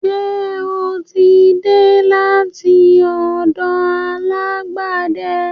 Ṣe o tí dé láti ọ̀dọ̀ alágbẹ̀de?